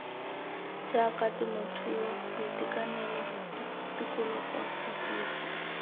jaaka temothuo boitekanelo tikologo ditiro